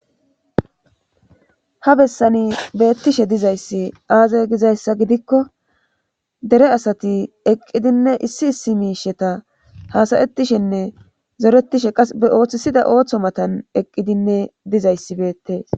Ha bessani beettishe dizayssi aaza gizayssa gidikko dere asati eqqidinne issi issi miisheta hasayetishenne zoretishe qas be ooththisida ooththo matan eqqidinne dizayssi beettees